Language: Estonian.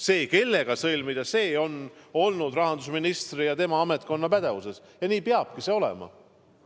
See, kellega sõlmida, on olnud rahandusministri ja tema ametkonna pädevuses ja nii peabki see olema.